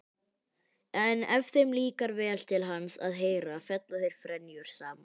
En ef þeim líkar vel til hans að heyra fella þeir frenjur saman.